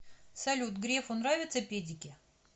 салют грефу нравятся педики